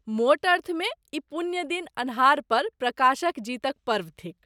मोट अर्थमे, ई पुण्य दिन अन्हार पर प्रकाशक जीतक पर्व थिक।